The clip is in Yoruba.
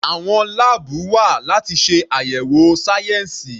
Àwọn láàbù wa láti ṣe àyẹ̀wò sáyẹnsì.